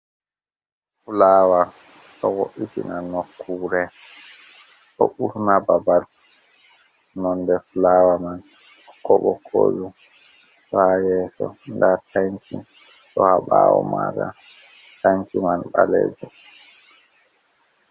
Fulawa ɗo wo’utinal nokure do urna babal, nonde fulawa man bokko bokkoju fayeso da tanki do habawo mada tanki man balejum.